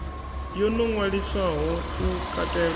yo no ṅwaliswaho u katela